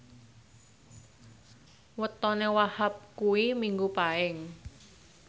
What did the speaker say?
wetone Wahhab kuwi Minggu Paing